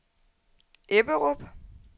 Ebberup